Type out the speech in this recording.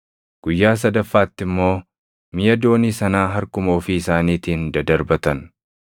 Guyyaa sadaffaatti immoo miʼa doonii sanaa harkuma ofii isaaniitiin dadarbatan.